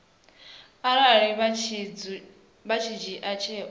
arali vha tshi dzhia tsheo